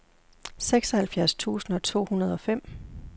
seksoghalvfjerds tusind to hundrede og fem